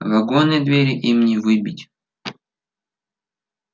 вагонные двери им не выбить